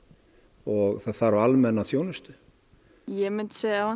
og það þarf almenna þjónustu ég myndi segja